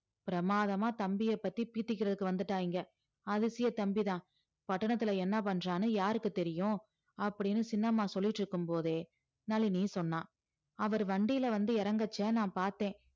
பிரமாதமா தம்பிய பத்தி பீத்திக்கிறதுக்கு வந்துட்டா இங்க அதிசய தம்பி தான் பட்டணத்தில என்ன பண்றான்னு யாருக்கு தெரியும் அப்படீன்னு சின்னம்மா சொல்லிட்டு இருக்கும் போதே நளினி சொன்னா அவர் வண்டியில வந்து இறங்கச்சே நான் பார்த்தேன்